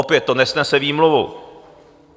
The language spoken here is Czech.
Opět, to nesnese výmluvu.